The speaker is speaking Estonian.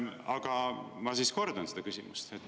Aga ma siis kordan küsimust.